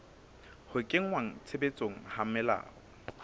ho kenngwa tshebetsong ha melao